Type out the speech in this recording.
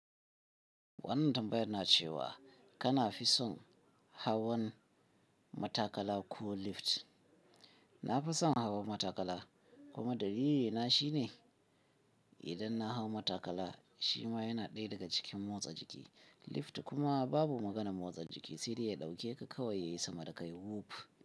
Wannan tambayar na cewa kana fi son hawan matakala ko lift? Na fi son hawan matakala kuma dalili na shine idan na hau matakala shima yana ɗaya daga cikin motsa jiki. Lift kuma babu maganan motsa jiki, sai dai ya ɗauke ka kawai ya yi sama da kai wuf.